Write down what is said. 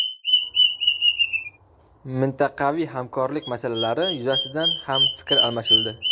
Mintaqaviy hamkorlik masalalari yuzasidan ham fikr almashildi.